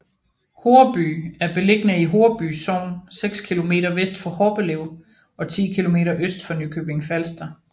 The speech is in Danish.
Horreby er beliggende i Horreby Sogn seks kilometer vest for Horbelev og 10 kilometer øst for Nykøbing Falster